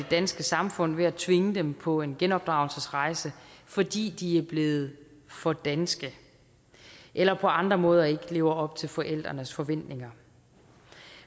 danske samfund ved at tvinge dem på en genopdragelsesrejse fordi de er blevet for danske eller på andre måder ikke lever op til forældrenes forventninger